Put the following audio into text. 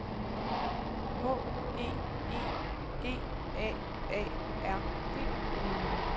H E E G A A R D